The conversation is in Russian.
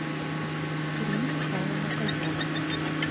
ирина михайловна козлова